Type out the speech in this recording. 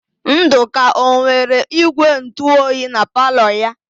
Ndụka ọ nwere ígwèntụoyi na palọ ya?